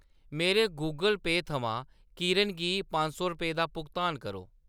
मेरे गूगल पेऽ थमां किरण गी पंज सौ रपेऽ दा भुगतान करो।